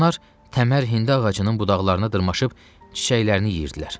Onlar Təmər Hindi ağacının budaqlarına dırmaşıb çiçəklərini yeyirdilər.